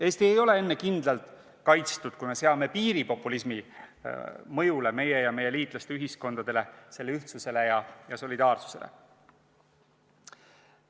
Eesti ei ole kindlalt kaitstud enne, kui me seame piiri populismi mõjule, meie ja meie liitlaste ühiskondadele, nende ühtsusele ja solidaarsusele.